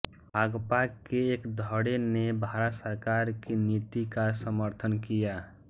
भाकपा के एक धड़े ने भारत सरकार की नीति का समर्थन किया